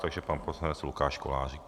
Takže pan poslanec Lukáš Kolářík.